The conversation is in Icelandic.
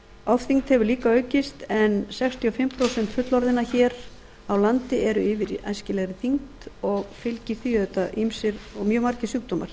ofþyngd hefur líka aukist en sextíu og fimm prósent fullorðinna hér á landi eru yfir æskilegri þyngd og fylgja því auðvitað ýmsir og mjög margir sjúkdómar